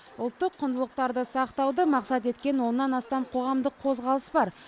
ұлттық құндылықтарды сақтауды мақсат еткен оннан астам қоғамдық қозғалыс бар